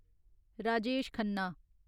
Rajesh Khanna